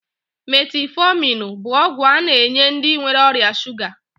Metiifominu bụ ọgwụ a na-enye ndị nwere ọrịa shuga